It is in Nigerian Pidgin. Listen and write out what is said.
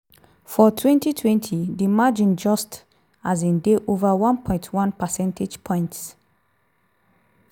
for 2020 di margin just um dey ova 1.1 percentage points.